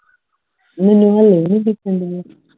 ਮੈਨੂੰ ਹਲੇ ਵੀ ਨਹੀਂ ਦੱਸਣ ਡਏ